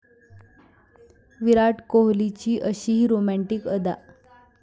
विराट कोहलीची अशीही रोमँटिक अदा!